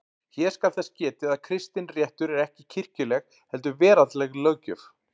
Hér skal þess getið að kristinréttur er ekki kirkjuleg heldur veraldleg löggjöf.